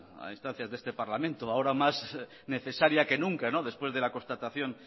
a instancias de este parlamento ahora más necesaria que nunca después de la constatación